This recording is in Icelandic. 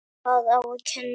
Hvað á að kenna?